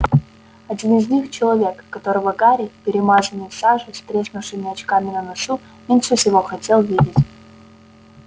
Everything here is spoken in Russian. один из них человек которого гарри перемазанный в саже с треснувшими очками на носу меньше всего хотел видеть